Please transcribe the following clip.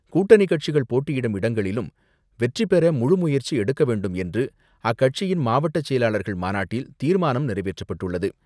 கூட்டணிக்கட்சிகள் போட்டியிடும் இடங்களிலும் வெற்றி பெற முழு முயற்சி எடுக்க வேண்டும் என்று அக்கட்சியின் மாவட்டச் செயலாளர்கள் மாநாட்டில் தீர்மானம் நிறைவேற்றப்பட்டுள்ளது.